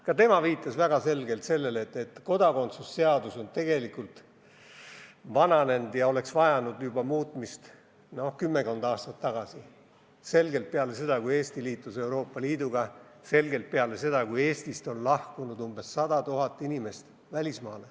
Ka tema viitas väga selgelt sellele, et kodakondsuse seadus on tegelikult vananenud ja oleks vajanud muutmist juba kümmekond aastat tagasi – selgelt peale seda, kui Eesti liitus Euroopa Liiduga, selgelt peale seda, kui Eestist on välismaale lahkunud umbes 100 000 inimest.